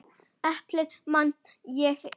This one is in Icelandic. apríl man ég enn.